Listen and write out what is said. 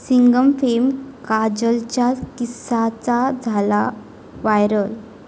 सिंघम'फेम काजलच्या किसचा झाला व्हायरल